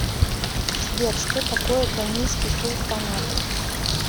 сбер что такое конийский султанат